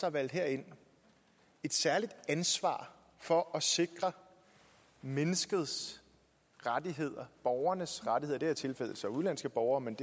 er valgt herind et særligt ansvar for at sikre menneskets rettigheder borgernes rettigheder i det her tilfælde så udenlandske borgere men